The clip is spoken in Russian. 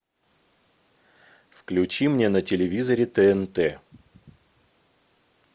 включи мне на телевизоре тнт